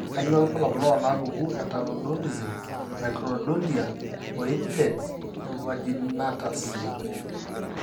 Kainyio irbulabul onaapuku eTaurodontism, microdontia, o indens invaginatus?